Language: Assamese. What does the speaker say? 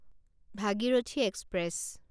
ভাগীৰথী এক্সপ্ৰেছ